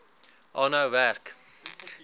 aanhou werk